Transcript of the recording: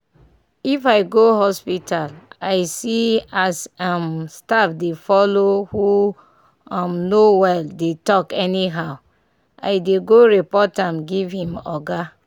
if i go hospital i see as um staff dey follow who um no well dey talk anyhow i dey go report am give him oga.